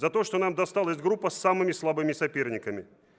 за то что нам досталась группа с самыми слабыми соперниками